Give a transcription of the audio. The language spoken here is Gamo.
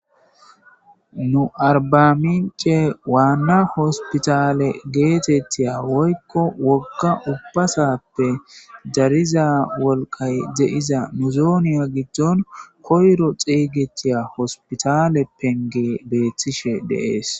nu arbamince waanna hospitale geetettiya woykko wogga ubbasappe dariza wolqay de7iza muzooniya giddon koyro xiygetiya hospitale penge beethtishe deees